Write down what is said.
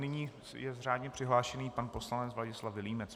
Nyní je řádně přihlášený pan poslanec Ladislav Vilímec.